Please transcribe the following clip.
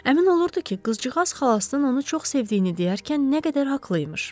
Əmin olurdu ki, qızcıqaz xalasının onu çox sevdiyini deyərkən nə qədər haqlı imiş.